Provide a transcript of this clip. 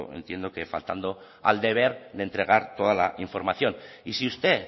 entiendo que faltando al deber de entregar toda la información y si usted